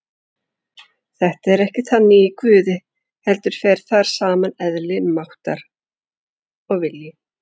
Þetta er ekki þannig í Guði heldur fer þar saman eðli, máttur og vilji.